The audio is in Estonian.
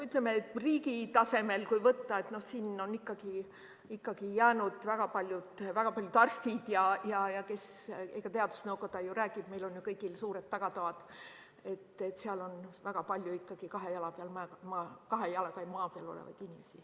Ütleme, kui riigi tasemel võtta, siis ikkagi arstide ja kelle iganes hulgas – teadusnõukoda ju räägib nendega, meil kõigil on suured tagatoad – on väga palju kahe jalaga maa peal olevaid inimesi.